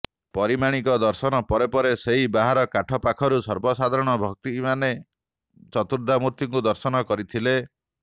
ପରିମାଣିକ ଦର୍ଶନ ପରେ ପରେ ସେହି ବାହାର କାଠ ପାଖରୁ ସର୍ବସାଧାରଣ ଭକ୍ତିମାନେ ଚତୁର୍ଦ୍ଧାମୂର୍ତ୍ତିଙ୍କୁ ଦର୍ଶନ କରିଥିଲେ